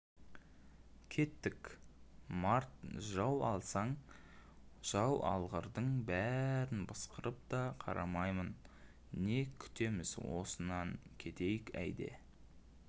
кеттік март жау алсын жау алғырдың бәрін пысқырып та қарамаймын не күтеміз осынан кетейік әйда